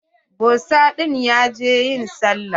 Bosa ɗin ya je ƴin sallah.